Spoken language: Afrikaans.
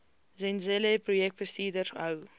zenzele projekbestuurders hou